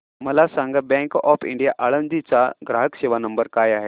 मला सांगा bank of India Alandi चा ग्राहक सेवा नंबर काय आहे